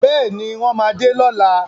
Bẹ́ẹ̀ni, wọ́n máa dé lọ́la.